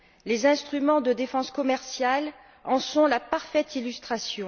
Les instruments de défense commerciale en sont la parfaite illustration.